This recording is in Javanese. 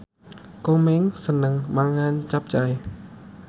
Komeng seneng mangan capcay